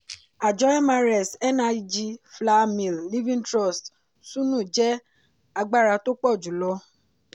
àjọ mrs nig flour mill living trust sunu jẹ́ agbára tó pọ̀ jùlọ.